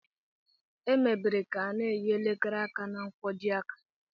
Emebere ka a n'eyi elekere aka na nkwojiaka